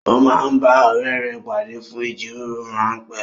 Ó máa ń bá ọ̀rẹ́ rẹ pàdé fún ìjíròrò rán pé